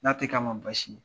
N'a te k'a ma basi ye .